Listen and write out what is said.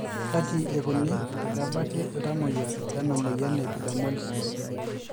kaji ikoni pee ebaki iltamoyiak lena moyian e epidermolysis?